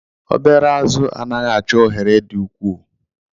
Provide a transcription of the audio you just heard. Obere azụ̀ anaghị achọ ohere dị ukwuu